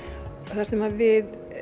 þar sem við